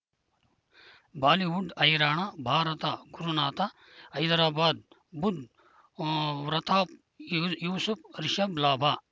Bollywood ಹೈರಾಣ ಭಾರತ ಗುರುನಾಥ ಹೈದರಾಬಾದ್ ಬುಧ್ ಊ ವ್ರತಾಪ್ ಯೂಸುಫ್ ರಿಷಬ್ ಲಾಭ